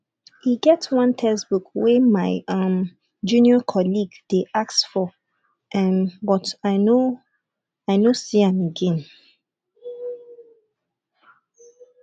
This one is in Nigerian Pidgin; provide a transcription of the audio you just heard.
e get one textbook wey my um junior colleague dey ask for um but i no i no see am again